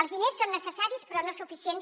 els diners són necessaris però no suficients